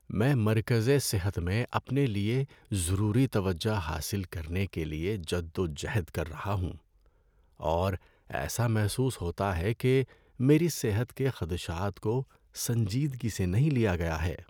میں مرکزِ صحت میں اپنے لیے ضروری توجہ حاصل کرنے کے لیے جدوجہد کر رہا ہوں، اور ایسا محسوس ہوتا ہے کہ میری صحت کے خدشات کو سنجیدگی سے نہیں لیا گیا ہے۔